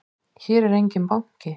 Hér er enginn banki!